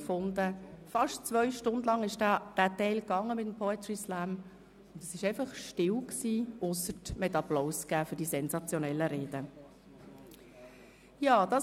Der Poetry Slam dauerte fast zwei Stunden, und es war einfach still, ausser dass man den sensationellen Reden applaudierte.